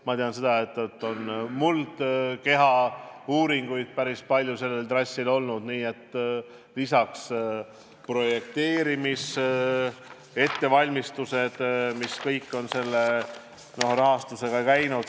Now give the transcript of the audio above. Ma tean, et sellel trassil on olnud ka päris palju muldkehauuringuid, nii et lisaks on tehtud projekteerimise ettevalmistusi – kõik see on selle projekti rahastuse kaudu käinud.